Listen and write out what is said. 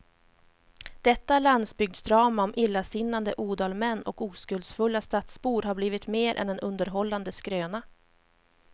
Detta landsbygdsdrama om illasinnade odalmän och oskuldsfulla stadsbor har blivit mer än en underhållande skröna.